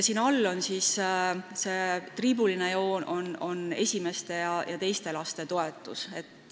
See triibuline joon siin all tähistab esimese ja teise lapse toetust.